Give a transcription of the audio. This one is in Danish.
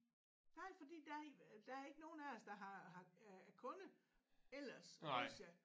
Nej fordi der er der er ikke nogen af os der har har øh er kunde ellers hos jer